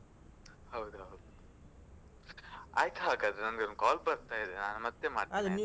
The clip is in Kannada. ಹೌದು ಹೌದು. ಆಯ್ತು ಹಾಗಾದ್ರೆ ನಂಗೊಂದ್ call ಬರ್ತಾ ಇದೆ ನಾನು ಮತ್ತೆ ಮಾಡ್ತೇನೆ